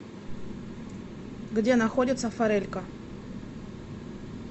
где находится форелька